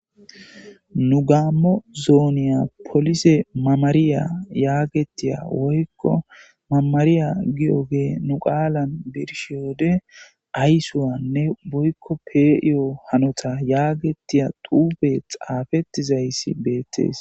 nu gaammo zooniya polise mamariya yaagetiya woykko mamariya gi7ogee nu qaalan birshiywode aysuwanne boykko pee7iyo hanota yaagetiya duube xaafettizayssi beettees